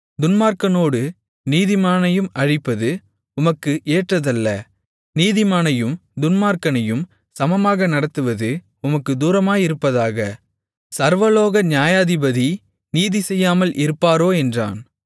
துன்மார்க்கனோடு நீதிமானையும் அழிப்பது உமக்கு ஏற்றதல்ல நீதிமானையும் துன்மார்க்கனையும் சமமாக நடத்துவது உமக்குத் தூரமாயிருப்பதாக சர்வலோக நியாயாதிபதி நீதிசெய்யாமல் இருப்பாரோ என்றான்